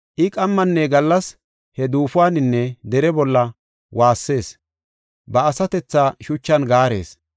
I qammanne gallas he duufuwaninne dere bolla waassees, ba asatethaa shuchan gaarees.